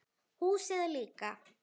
Húsið líka.